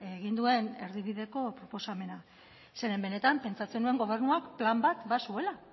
egin duen erdibideko proposamena zeren benetan pentsatzen nuen gobernuak plan bat bazuela